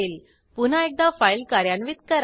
पुन्हा एकदा फाईल कार्यान्वित करा